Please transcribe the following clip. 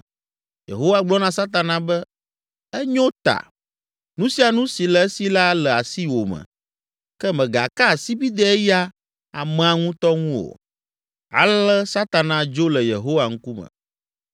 Yehowa gblɔ na Satana be, “Enyo ta, nu sia nu si le esi la le asiwò me, ke mègaka asibidɛ eya amea ŋutɔ ŋu o.” Ale Satana dzo le Yehowa ŋkume.